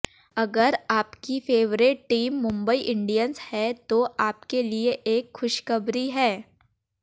अगर आपकी favourite team Mumbai Indians है तो आपके लिए एक खुशखबरी है